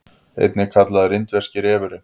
einnig kallaður indverski refurinn